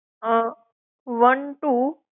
um one two